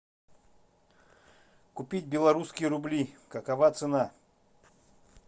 купить белорусские рубли какова цена